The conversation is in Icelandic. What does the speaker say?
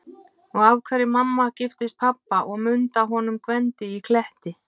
Og af hverju mamma giftist pabba og Munda honum Gvendi í Kletti.